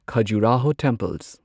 Khajuraho temples